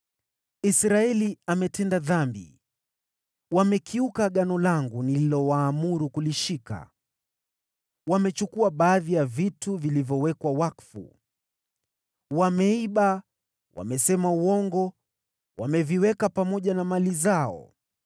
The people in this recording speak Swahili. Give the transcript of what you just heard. Israeli ametenda dhambi. Wamekiuka agano langu nililowaamuru kulishika. Wamechukua baadhi ya vitu vilivyowekwa wakfu, wameiba, wamesema uongo, wameviweka pamoja na mali zao.